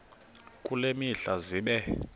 kule mihla zibe